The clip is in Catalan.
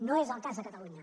no és el cas de catalunya